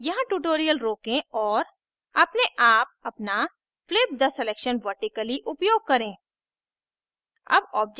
यहाँ tutorial रोकें और अपने आप अपना flip the selection vertically उपयोग करें